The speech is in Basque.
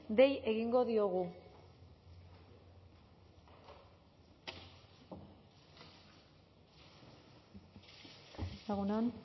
dei egingo diogu egun on